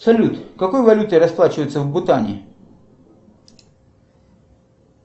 салют какой валютой расплачиваются в бутане